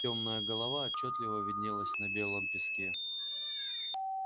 тёмная голова отчётливо виднелась на белом песке